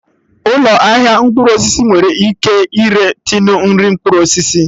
Ụlọ ahịa mkpụrụ osisi nwere ike ire tinu nri mkpụrụ osisi